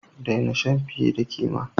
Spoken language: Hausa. Daina shan fiye da kima!